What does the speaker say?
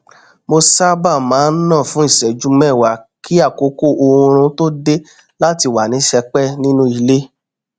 mo sábà má n nà fún ìṣẹjú mẹwàá kí àkókò oorun tó dé láti wà ní sẹpẹ nínú ilé